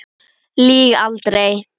Lýg aldrei.